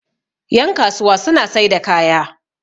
yankasuwa suna sai da kaya